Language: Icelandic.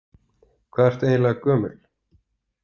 Hvað ertu eiginleg gömul?